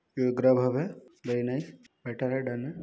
यह गर्ब हब है वेरी नाइस बेटर है डन है।